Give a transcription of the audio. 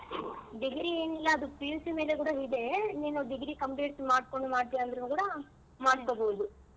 Degree ಏನಿಲ್ಲ ಅದು PUC ಮೇಲು ಕೂಡ ಇದೆ ನೀನು degree complete ಮಾಡ್ಕೊಂಡು ಮಾಡ್ತಿಯಾ ಅಂದ್ರು ಕೂಡ ಮಾಡ್ಕೋಬಹುದು.